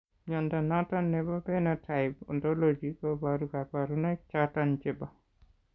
Mnyondo noton nebo Phenotype Ontology koboru kabarunaik choton chebo